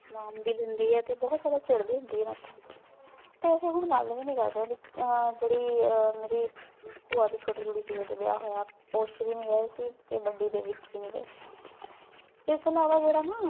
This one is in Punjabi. ਨਾਮ ਵੀ ਦੇਂਦੀ ਆਯ ਤੇ ਬੋਹਤ ਸਾਰਾ ਚਿੜਦੀ ਹੁੰਦੀ ਆਯ ਮੇਰੇ ਤੋਂ ਤੇ ਅਸੀਂ ਹੁਣ ਗਲ ਵੀ ਨਾਈ ਕਰਦੇ ਵਿਚੋਂ ਜੇਰੀ ਮੇਰੀ ਪੁਆ ਦੀ ਛੋਟੀ ਕੁੜੀ ਸੀ ਓਹਦੇ ਵਿਯਾਹ ਹੋਯੇ ਓਸ੍ਚ ਵੀ ਨਾਈ ਗਾਯ ਸੀ ਤੇ ਬਡ਼ੀ ਦੇ ਵਿਚ ਵੀ ਨਾਈ ਗਾਯ ਏਸ ਤੋਂ ਇਲਾਵਾ ਜੇਰਾ ਨਾ